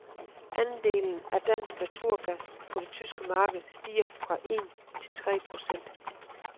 Andelen af dansk naturgas på det tyske marked stiger fra én til tre procent.